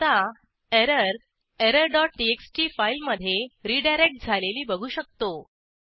आता error error dot TXT फाईलमधे redirect झालेली बघू शकतो